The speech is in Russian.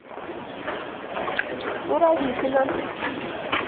суровикино